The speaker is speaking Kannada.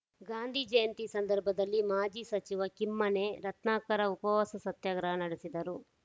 ಗಾಂಧಿ ಜಯಂತಿ ಸಂದರ್ಭದಲ್ಲಿ ಮಾಜಿ ಸಚಿವ ಕಿಮ್ಮನೆ ರತ್ನಾಕರ್‌ ಉಪವಾಸ ಸತ್ಯಾಗ್ರಹ ನೆಡೆಸಿದರು